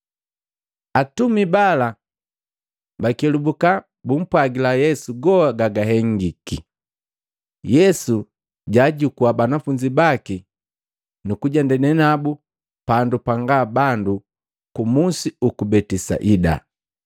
Atumi bala pabakelubuka bumpwagila Yesu goha gabahengiki. Yesu jaajukua banafunzi baki nukujenda nabu pandu panga na bandu kumusi uku Betisaida.